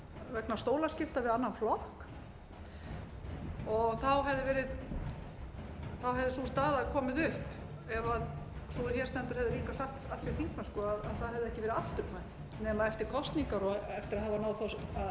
vegna stólaskipta við annan flokk og þá hefði sú staða komið upp ef sú er hér stendur hefði líka sagt af sér þingmennsku að það hefði ekki verið afturkvæmt nema eftir kosningar og eftir að hafa náð að